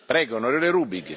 Herr Präsident!